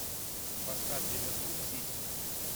поставь ливерпуль сити